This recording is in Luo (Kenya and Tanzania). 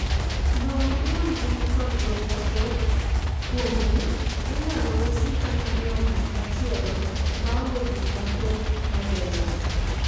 lowo ma wuongi nikod duol mathoth kuomgi inyalo usi kata miyo ng'at machielo maonge gik mathoth mageng'o